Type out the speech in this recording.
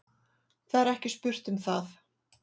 Það er ekki spurt um það.